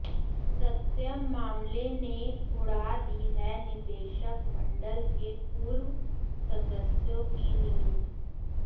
सत्यम मामले ने उड़ा दी है निदेशक मंडल के पूर्व सदस्यों की नींद